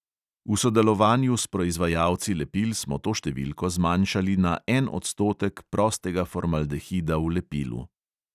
V sodelovanju s proizvajalci lepil smo to številko zmanjšali na en odstotek prostega formaldehida v lepilu.